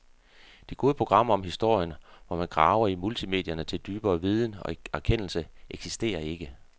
De gode programmer om historie, hvor man graver i multimedierne til dybere viden og erkendelse, eksisterer ikke.